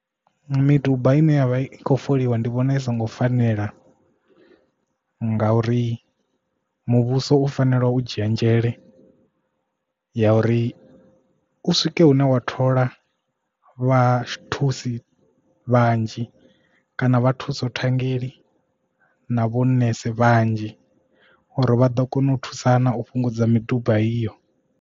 Miduba ine ya vha khou foliwa ndi vhona zwi songo fanela nga uri muvhuso u fanela u dzhia nzhele ya uri u swike hune wa thola vha thusi vhanzhi kana vha thuso ṱhanngela na vho nese vhanzhi uri vha ḓo kona u thusana u fhungudza miduba iyo.